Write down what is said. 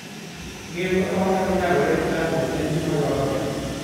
Ng'eyo kaka wanyalo nyagore gi chandruok en gima dwarore.